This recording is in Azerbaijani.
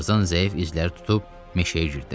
Tarzan zəif izləri tutub meşəyə girdi.